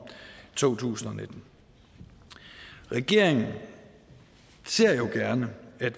to tusind og nitten regeringen ser gerne at